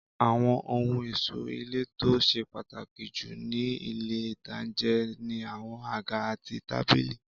Àwọn ohun ẹ̀ṣọ́ ilé tó ṣe pàtàkì jù ní ilé-ìtánjẹ ni àwọn àga àti tábìlì